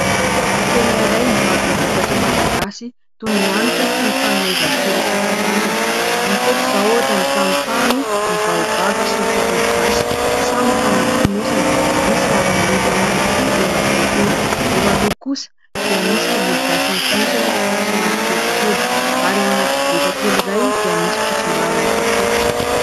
Tsena iray mivarotra vokatra malagasy toy ny hanitra sy ny fanomezan-tsiro isankarazany. Hita eto izao ohatra ny tamotamo, baobab sy ny tongologasy samy efa anaty fonosana, misy lavanilina ihany koa eo akaiky eo ; eo aloha kosa dia misy tongologasy amin'ny fonosana somary kelikely ary eo anaty koveta kely iray dia misy fotsimbary amin'ny kapoaka.